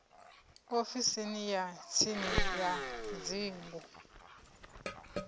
ofisini ya tsini ya dzingu